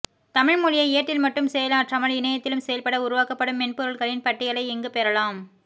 தமிழ் மொழியை ஏட்டில் மட்டும் செயலாற்றாமல் இணையத்திலும் செயல்பட உருவாக்கப்படும் மென்பொருள்களின் பட்டியலை இங்கு பெறலாம்